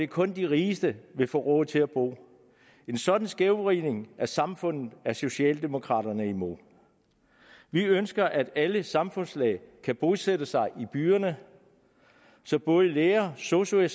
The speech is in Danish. kun de rigeste ville få råd til at bo en sådan skævvridning af samfundet er socialdemokraterne imod vi ønsker at alle samfundslag kan bosætte sig i byerne så både læger sosu